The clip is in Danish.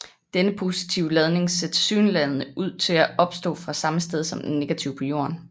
Denne positive ladning ser tilsyneladende ud til at opstå fra samme sted som den negative på jorden